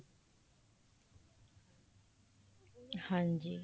ਹਾਂਜੀ